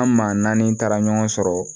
An maa naani taara ɲɔgɔn sɔrɔ